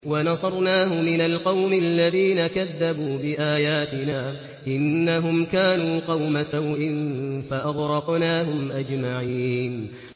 وَنَصَرْنَاهُ مِنَ الْقَوْمِ الَّذِينَ كَذَّبُوا بِآيَاتِنَا ۚ إِنَّهُمْ كَانُوا قَوْمَ سَوْءٍ فَأَغْرَقْنَاهُمْ أَجْمَعِينَ